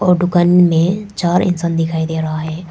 ओ दुकान में चार इंसान दिखाई दे रहा है।